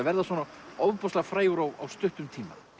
verða svona ofboðslega frægur á stuttum tíma